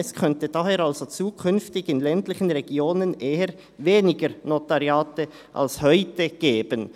Es könnte daher also zukünftig in ländlichen Regionen eher weniger Notariate als heute geben.